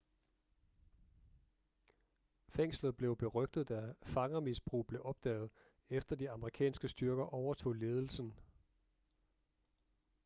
fængslet blev berygtet da fangermisbrug blev opdaget efter de amerikanske styrker overtog ledelsen